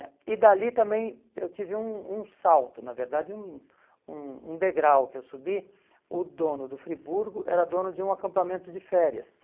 né e dali também eu tive um um salto, na verdade um um um degrau que eu subi, o dono do Friburgo era dono de um acampamento de férias.